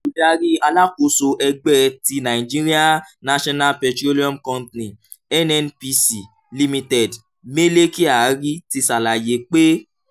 oludari alakoso ẹgbẹ ti nigerian national petroleum company (nnpc) limited mele kyari ti ṣalaye pe awọn